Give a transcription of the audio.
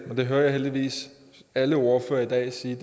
det hører jeg heldigvis alle ordførere sige i